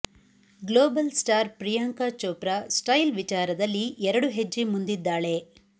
global star Priyanka Chopra style ವಿಚಾರದಲ್ಲಿ ಎರಡು ಹೆಜ್ಜೆ ಮುಂದಿದ್ದಾಳೆ